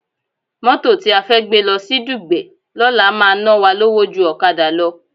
Mótò tí a fẹ́ gbé lọ sí Dùgbẹ̀ lọ́la máa ná wa lówó ju ọ̀kadà lọ